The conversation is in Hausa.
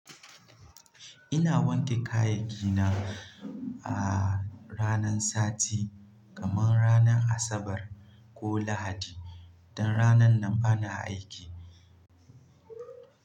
Ina wanke kayaki na a ranan sati, kamar ranan Asabar ko Lahadi. Dan ranan nan bana aiki.